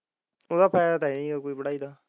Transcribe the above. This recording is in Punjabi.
ਉਹ ਦਾ ਫ਼ਾਇਦਾ ਤਾ ਹੈ ਨਹੀਂ ਕੋਈ ਪੜਾਈ ਦਾ।